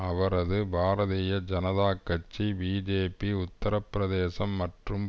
அவரது பாரதிய ஜனதா கட்சி பிஜேபி உத்திரப்பிரதேசம் மற்றும்